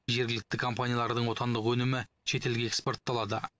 жергілікті компаниялардың отандық өнімі шетелге экспортталады